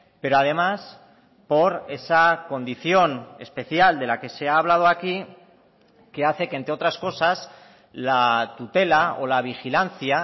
pero además por esa condición especial de la que se ha hablado aquí que hace que entre otras cosas la tutela o la vigilancia